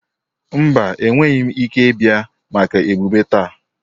Mba, enweghị m ike ịbịa maka emume taa.